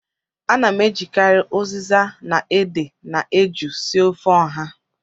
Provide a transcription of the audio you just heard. Ana m ejikarị ụzịza na ede na eju sie ofe ọha